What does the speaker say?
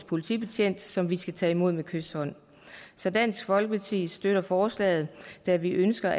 politibetjent som vi skal tage imod med kyshånd så dansk folkeparti støtter forslaget da vi ønsker